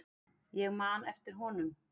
Ég man eftir honum.